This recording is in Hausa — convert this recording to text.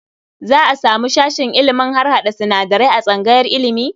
Za a samu sashen ilimin harhaɗa sinadarai a tsangayar ilimi?